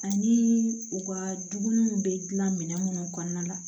Ani u ka dumuniw bɛ dilan minɛn minnu kɔnɔna la